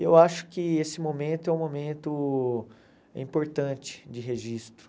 E eu acho que esse momento é um momento importante de registro.